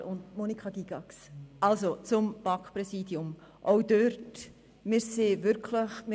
Ich gebe von den einzelnen Wahlen jetzt das absolute Mehr und das Wahlergebnis bekannt.